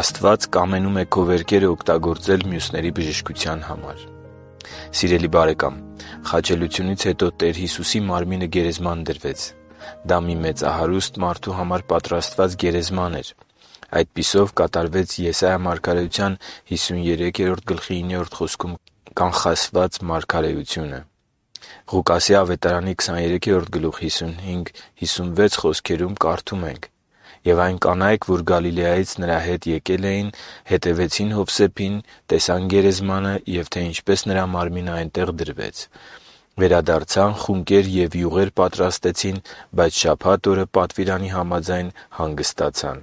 Աստված կամենում է քո վերքերը օգտագործել մյուսների բժշկության համար Սիրելի՛ բարեկամ, խաչելությունից հետո Տեր Հիսուսի մարմինը գերեզման դրվեց. դա մի մեծահարուստ մարդու համար պատրաստված գերեզման էր։ Այդպիսով կատարվեց Եսայի 53.9 խոսքում կանխատեսված մարգարեությունը։ Ղուկասի ավետարանի 23.55-56 հատվածում կարդում ենք․ «Եվ այն կանայք, որ Գալիլեայից նրա հետ էին եկել, հետևեցին Հովսեփին, տեսան գերեզմանը, և թե ինչպես նրա մարմինը այնտեղ դրվեց։ Վերադարձան, խունկեր և յուղեր պատրաստեցին, բայց շաբաթ օրը, պատվիրանի համաձայն, հանգստացան»։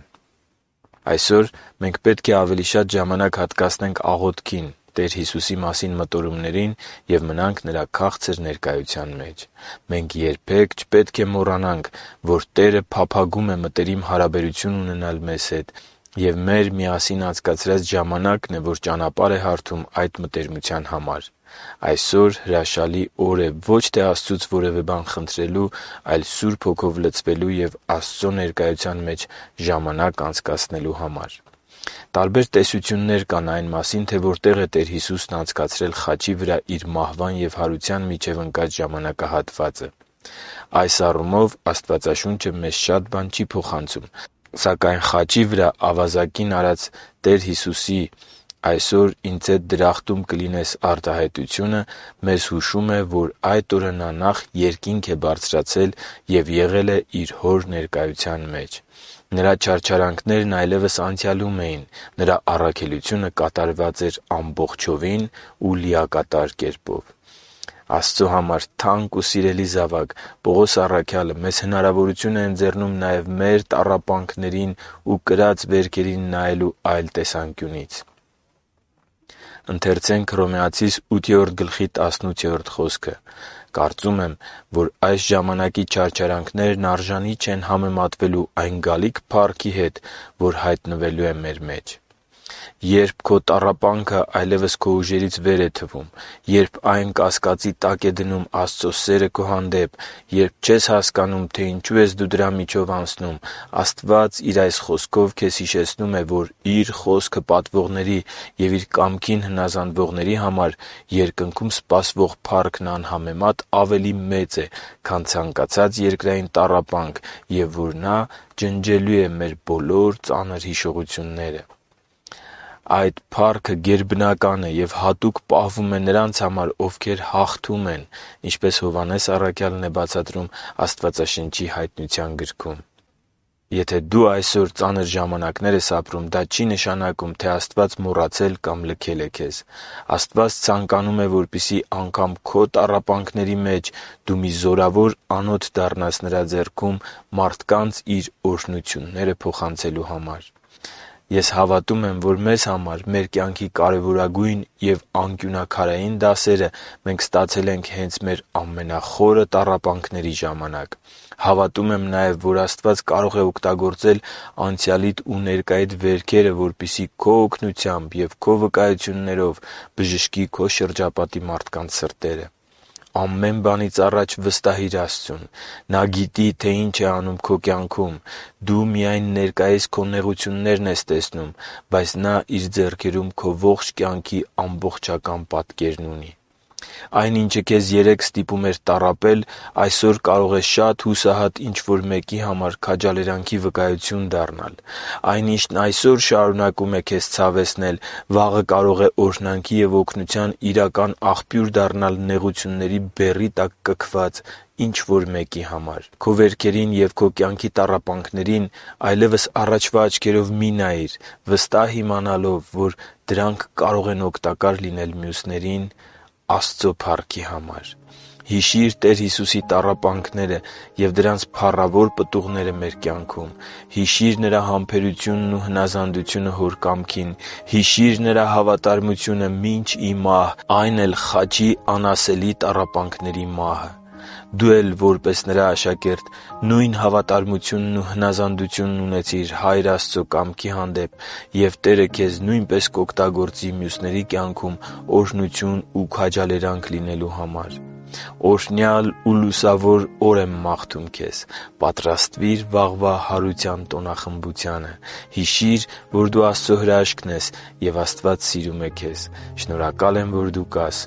Այսօր մենք պետք է ավելի շատ ժամանակ հատկացնենք աղոթքին, Տեր Հիսուսի մասին մտորումներին և մնանք Նրա քաղցր ներկայության մեջ։ Մենք երբե՛ք չպետք է մոռանանք, որ Տերը փափագում է մտերիմ հարաբերություն ունենալ մեզ հետ, և միասին անցկացրած ժամանակն է, որ ճանապարհ է հարթում այդ մտերմության համար։ Այսօր հրաշալի օր է ոչ թե Աստծուց որևէ բան խնդրելու համար, այլ Սուրբ Հոգով լցվելու և Աստծո ներկայության մեջ ժամանակ անցկացնելու համար։ Տարբեր տեսություններ կան այն մասին, թե որտեղ է Տեր Հիսուսն անցկացրել խաչի վրա Իր մահվան և հարության միջև ընկած ժամանակահատվածը։ Այս առումով Աստվածաշունչը մեզ շատ բան չի փոխանցում։ Սակայն խաչի վրայի ավազակին արած Տեր Հիսուսի «այսօր Ինձ հետ դրախտում կլինես» արտահայտությունը մեզ հուշում է, որ այդ օրը Նա նախ Երկինք է բարձրացել և եղել է Իր Հոր ներկայության մեջ։ Նրա չարչարանքներն այլևս անցյալում էին։ Նրա առաքելությունը կատարված էր ամբողջովին ու լիակատար կերպով։ Աստծո համար թանկ ու սիրելի՛ զավակ, Պողոս առաքյալը մեզ հնարավորություն է ընձեռում նաև մեր տառապանքներին ու կրած վերքերին նայելու այլ տեսանկյունից․ «Կարծում եմ, որ այս ժամանակի չարչարանքներն արժանի չեն համեմատվելու այն գալիք փառքի հետ, որ հայտնվելու է մեր մեջ» (Հռոմեացիս 8․18)։ - Երբ քո տառապանքը այլևս քո ուժերից վեր է քեզ թվում․․․ - Երբ այն կասկածի տակ է դնում Աստծո սերը քո հանդեպ․․․ - Երբ չես հասկանում, թե ինչու ես դու դրա միջով անցնում․․․ Աստված Իր այս Խոսքով քեզ հիշեցնում է, որ Իր Խոսքը պատվողների և Իր կամքին հնազանդվողների համար Երկնքում սպասվող փառքն անհամեմատ ավելի մեծ է, քան ցանկացած երկրային տառապանք, և որ Նա ջնջելու է մեր բոլոր ծանր հիշողությունները։ Այդ փառքը գերբնական է և հատուկ պահվում է նրանց համար, «ովքեր հաղթում են», ինչպես Հովհաննես առաքյալն է բացատրում Աստվածաշնչի Հայտնության գրքում։ Եթե դու այսօր ծանր ժամանակներ ես ապրում, դա չի նշանակում, որ Աստված մոռացել կամ լքել է քեզ։ Աստված ցանկանում է, որպեսզի անգամ քո տառապանքների մեջ դու մի զորավոր անոթ դառնաս Նրա ձեռքում՝ մարդկանց Իր օրհնությունները փոխանցելու համար։ Ես հավատում եմ, որ մեզ համար մեր կյանքի կարևորագույն ու անկյունաքարային դասերը մենք ստացել ենք հենց մեր ամենախորը տառապանքների ժամանակ։ Հավատում եմ նաև, որ Աստված կարող է օգտագործել անցյալիդ ու ներկայիդ վերքերը, որպեսզի քո օգնությամբ և քո վկայություններով բժշկի քո շրջապատի մարդկանց սրտերը։ Ամեն բանից առաջ վստահի՛ր Աստծուն։ Նա գիտի, թե ինչ է անում քո կյանքում։ Դու միայն ներկայիս քո նեղություններն ես տեսնում, բայց Նա Իր ձեռքերում քո ողջ կյանքի ամբողջական պատկերն ունի։ Այն, ինչը քեզ երեկ ստիպում էր տառապել, այսօր կարող է շատ հուսահատ ինչ-որ մեկի համար քաջալերանքի վկայություն դառնալ։ Այն, ինչն այսօր շարունակում է քեզ ցավեցնել, վաղը կարող է օրհնանքի և օգնության իրական աղբյուր դառնալ՝ նեղությունների բեռի տակ կքված ինչ-որ մեկի համար։ Քո վերքերին և քո կյանքի տառապանքներին այլևս առաջվա աչքերով մի՛ նայիր՝ վստահ իմանալով, որ դրանք կարող են օգտակար լինել մյուսներին… Աստծո՛ փառքի համար։ Հիշի՛ր Տեր Հիսուսի տառապանքները և դրանց փառավոր պտուղները մեր կյանքում։ Հիշի՛ր Նրա համբերությունն ու հնազանդությունը Հոր կամքին։ Հիշի՛ր Նրա հավատարմությունը մինչ ի մահ, այն էլ՝ խաչի անասելի տառապանքների մահը։ Դու էլ որպես Նրա աշակերտ նույն հավատարմությունն ու հնազանդությունն ունեցիր Հայր Աստծո կամքի հանդեպ և Տերը քեզ նույնպես կօգտագործի մյուսների կյանքում օրհնություն ու քաջալերանք լինելու համար։ Օրհնյա՛լ ու լուսավոր օր եմ մաղթում քեզ։ Պատրաստվի՛ր վաղվա հարության տոնախմբությանը․․․ Հիշի՛ր, որ դու Աստծո հրաշքն ես, և Աստված սիրում է քեզ։ Շնորհակալ եմ, որ դու կա՛ս